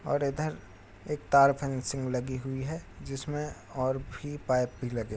और इधर एक तार फैंसिंग में लगी हुई है जिसमे और भी पाइप भी लगे--